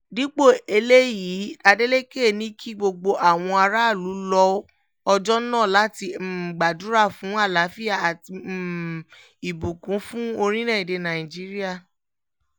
dípò eléyìí adeleke ní kí gbogbo àwọn aráàlú lo ọjọ́ náà láti um gbàdúrà fún àlàáfíà àti um ìbùkúnkún fún orílẹ̀‐èdè nàíjíríà